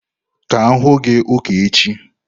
Ka m hụ gi ụka echi!